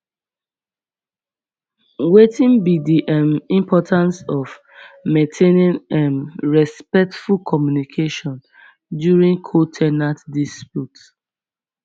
wetin be di um importance of maintaining um respectful communication during co ten ant dispute